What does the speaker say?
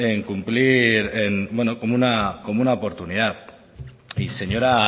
en cumplir como una oportunidad y señora